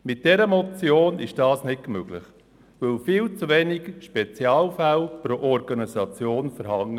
Mit dieser Motion ist dies nicht möglich, weil viel zu wenige Spezial- fälle pro Organisation übernommen werden.